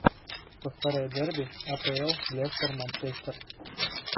повторяй дерби апл лестер манчестер